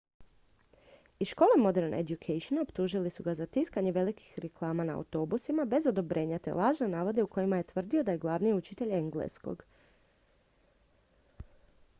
iz škole modern education optužili su ga za tiskanje velikih reklama na autobusima bez odobrenja te lažne navode u kojima je tvrdio da je glavni učitelj engleskog